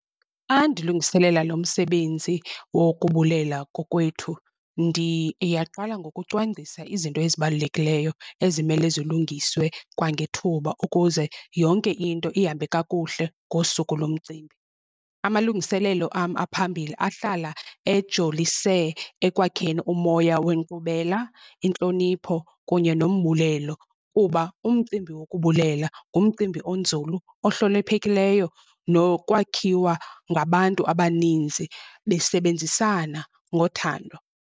Xa ndilungiselela lo msebenzi wokubulela kokwethu, ndiyaqala ngokucwangcisa izinto ezibalulekileyo ezimele zilungiswe kwangethuba ukuze yonke into ihambe kakuhle ngosuku lomcimbi. Amalungiselelo am aphambili ahlala ejolise ekwakheni umoya wenkqubela, intlonipho kunye nombulelo, kuba umcimbi wokubulela ngumcimbi onzulu ohloniphekileyo nokwakhiwa ngabantu abaninzi besebenzisana ngothando.